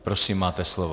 Prosím, máte slovo.